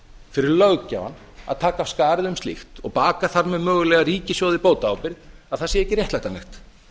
fyrir löggjafann að taka af skarið um slíkt og baka þar með mögulega ríkissjóði bótaábyrgð að það sé ekki réttlætanlegt